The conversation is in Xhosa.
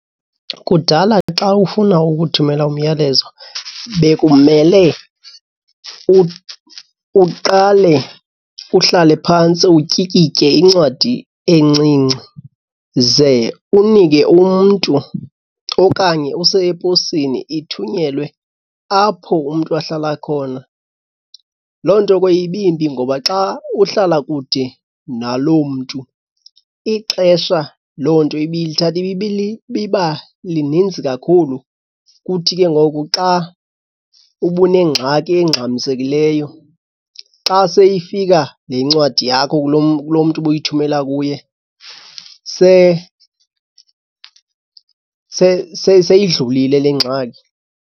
Kudala ke xa ufuna ukuthumela umyalezo bekumele uqale uhlale phantsi utyikitye incwadi encinci, ze unike umntu okanye use eposini ithunyelwe apho umntu ahlala khona. Loo nto ke ibimbi ngoba xa uhlala kude naloo mntu, ixesha loo nto ibilithatha ibiba lininzi kakhulu. Kuthi ke ngoku xa ubunengxaki engxamisekileyo, xa seyifika le ncwadi yakho kulo mntu ubuyithumela kuye seyidlulile le ngxaki.